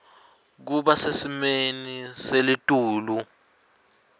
kuba sesimeni selitulu